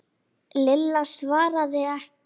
Lilla svaraði ekki.